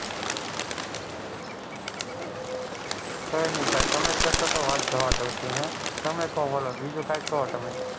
કઈ નહિ સાહેબ તમે કેશો તો વાત જવા દાવ છું તમે કઈ બોલો બીજું કંઈક કો તમે,